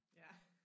Ja